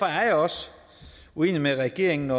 jeg også uenig med regeringen